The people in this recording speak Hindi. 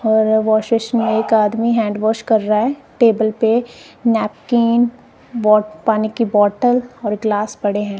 और वाशिश में एक आदमी हैंड वॉश कर रहा है टेबल पे नैपकिन बोट पानी की बोटल और गिलास पड़े है।